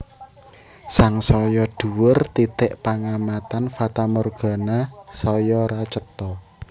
Sangsaya dhuwur titik pangamatan fatamorgana saya ora cetha